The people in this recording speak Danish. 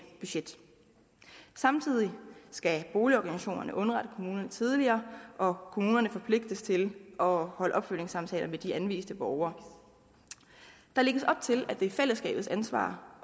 budget samtidig skal boligorganisationerne underrette kommunerne tidligere og kommunerne forpligtes til at afholde opfølgningssamtaler med de anviste borgere der lægges op til at det er fællesskabets ansvar